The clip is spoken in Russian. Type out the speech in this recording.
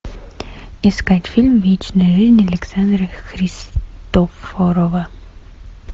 искать фильм вечная жизнь александра христофорова